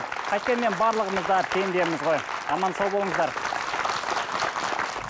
қайткенмен барлығымыз да пендеміз ғой аман сау болыңыздар